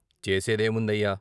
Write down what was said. చేసే దేముందయ్య?